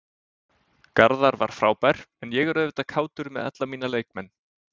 Garðar var frábær en ég er auðvitað kátur með alla mína leikmenn.